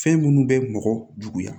Fɛn minnu bɛ mɔgɔ juguya